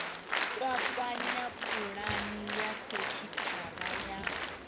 kwakwanya pulani ya sekithara ya